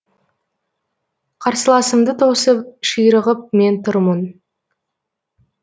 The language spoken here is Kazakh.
қарсыласымды тосып ширығып мен тұрмын